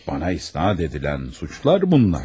Mənə isnad edilən suçlar bunlar.